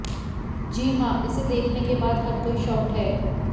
जी हां इसे देखने के बाद हर कोई शॉक्ड है